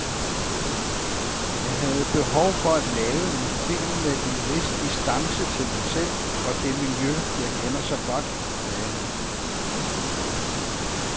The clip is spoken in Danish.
Jeg havde behov for at lave en film med en vis distance til mig selv og det miljø, jeg kender så godt, sagde han.